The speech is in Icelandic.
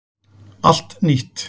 Allt nýtt